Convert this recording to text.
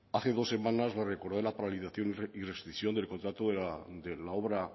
hace dos semanas le recordé la paralización y rescisión del contrato de la obra